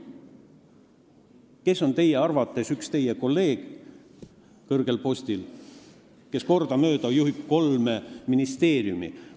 Kes on teie arvates see üks teie kõrgel postil olev kolleeg, kes kordamööda on juhtinud kolme ministeeriumi?